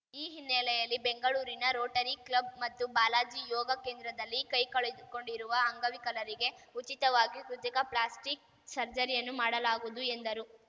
ಈ ಹಿನ್ನೆಲೆಯಲ್ಲಿ ಬೆಂಗಳೂರಿನ ರೋಟರಿ ಕ್ಲಬ್‌ ಮತ್ತು ಬಾಲಾಜಿ ಯೋಗ ಕೇಂದ್ರದಲ್ಲಿ ಕೈ ಕಳೆದುಕೊಂಡಿರುವ ಅಂಗವಿಕಲರಿಗೆ ಉಚಿತವಾಗಿ ಕೃತಕ ಪ್ಲಾಸ್ಟಿಕ್‌ ಸರ್ಜರಿಯನ್ನು ಮಾಡಲಾಗುವುದು ಎಂದರು